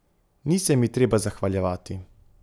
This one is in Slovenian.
Ni se mi treba zahvaljevati.